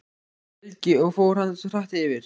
Helgi: Og fór hann hratt yfir?